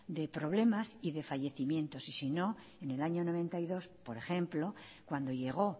de problemas y de fallecimientos y sino en el año mil novecientos noventa y dos por ejemplo cuando llego